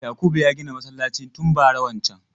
Yakubu ya gina masallacin tun bara wancan.